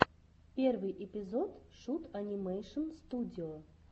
первый эпизод шут анимэйшн студио